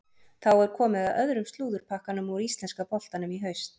Þá er komið að öðrum slúðurpakkanum úr íslenska boltanum í haust.